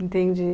Entendi.